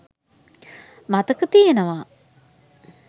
මතක තියෙනවා.